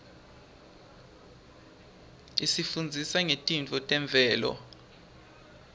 isifundzisa ngetintfo temvelo